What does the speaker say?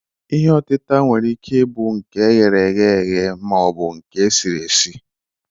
Ihe otịta nwere ike ị bụ nke eghereghe eghe maọbụ nke e siri esi.